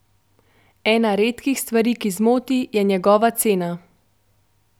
Ena redkih stvari, ki zmoti, je njegova cena.